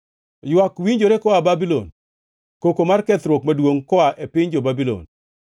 “Ywak winjore koa Babulon, koko mar kethruok maduongʼ, koa e piny jo-Babulon.